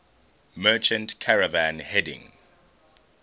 merchant caravan heading